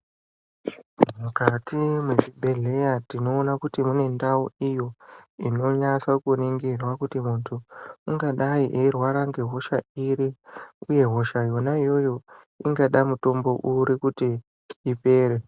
Mukati mwezvibhedhleya tinoona kuti mune ndau iyo ,inonyasa kuningirwa. kuti muntu ,ungadai eirwara ngehosha iri, uye hosha yona iyoyo, ingada mutombo uri kuti ipere.